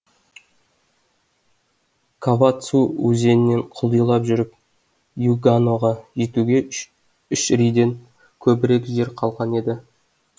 кавацү өзенінен құлдилай жүріп юганоға жетуге үш риден көбірек жер қалған еді